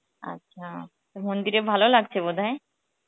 আচ্ছা তো মন্দিরে ভালো লাগছে বোধ হয়